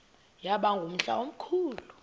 yaba ngumhla omkhulu